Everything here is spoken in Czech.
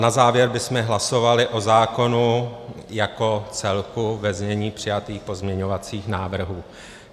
Na závěr bychom hlasovali o zákonu jako celku ve znění přijatých pozměňovacích návrhů.